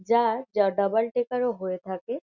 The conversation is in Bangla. যার যা ডাবল টেকার -ও হয়ে থাকে ।